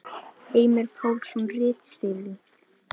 Heimir Pálsson ritstýrði.